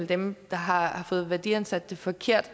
dem der har fået værdiansat det forkert